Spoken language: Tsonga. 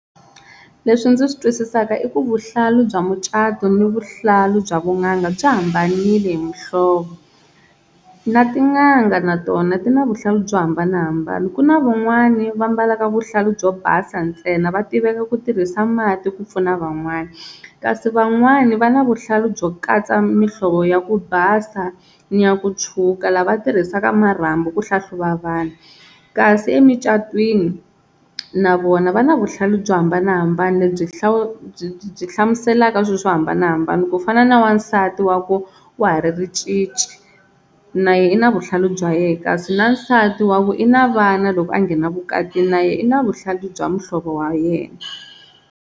Leswi ndzi swi twisisaka i ku vuhlalu bya mucato ni vuhlalu bya vun'anga byi hambanile hi muhlovo na tin'anga na tona ti na vuhlalu byo hambanahambana, ku na van'wani va mbalaka vuhlalu byo basa ntsena va tiveka ku tirhisa mati ku pfuna van'wani kasi van'wani va na vuhlalu byo katsa mihlovo ya ku basa ni ya ku tshuka lava tirhisaka marhambu ku hlahluva vanhu, kasi emucatwini na vona va na vuhlalu byo hambanahambana lebyi byi byi hlamuselaka swilo swo hambanahambana ku fana na wansati wa ha ku wa ha ri ricici, na yehe i na vuhlalu bya yena kasi na nsati wa ku i na vana loko a nghena vukati na yehe i na vuhlalu bya muhlovo wa yena.